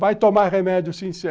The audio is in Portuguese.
Vai tomar remédio, sim